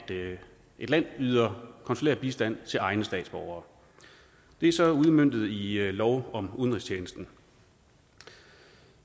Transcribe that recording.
et land yder konsulær bistand til egne statsborgere det er så udmøntet i lov om udenrigstjenesten